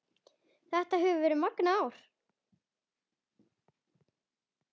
Þetta hefur verið magnað ár